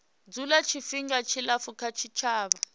dzula tshifhinga tshilapfu kha tshitshavha